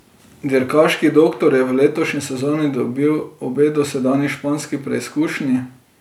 Dirkaški doktor je v letošnji sezoni dobil obe dosedanji španski preizkušnji.